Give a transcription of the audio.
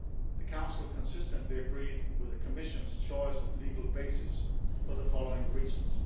The Council consistently agreed with the Commission's choice of legal basis for the following reasons.